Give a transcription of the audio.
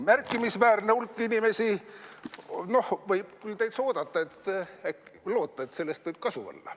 Märkimisväärne hulk inimesi, võib täitsa oodata, loota, et sellest võib kasu olla.